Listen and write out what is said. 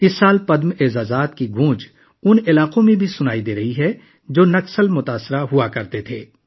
اس سال پدم ایوارڈز کی بازگشت ان علاقوں میں بھی سنائی دے رہی ہے جو پہلے نکسلیوں متاثر ہوا کرتے تھے